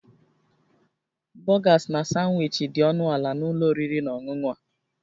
Burgers na Sanwichi dị ọnụ ala na ụlọ oriri na ọṅụṅụ a